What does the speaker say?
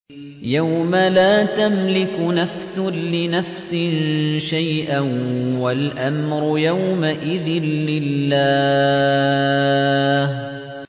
يَوْمَ لَا تَمْلِكُ نَفْسٌ لِّنَفْسٍ شَيْئًا ۖ وَالْأَمْرُ يَوْمَئِذٍ لِّلَّهِ